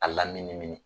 A laminimini